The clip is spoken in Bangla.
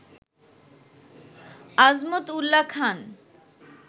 আজমত উল্লা খান